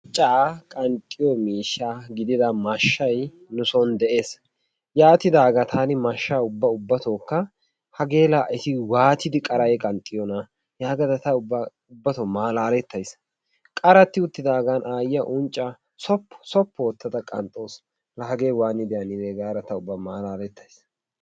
Unccaa qanxxiyoo miishsha gidida maashshay nu soon de'ees. yaatidaagaa taani mashshaa ubba ubbatoo hageela eti waatidi qarayi qanxxiyoonaa yagada ta ubbatoo malaaletays. qaratti uttidaagan ayiyaa unccaa soppu soppu oottada qanxxawus. La hagee waanidi gada ta ubba malaalettays.